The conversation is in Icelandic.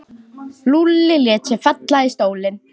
Lúlli lét sig falla í stól.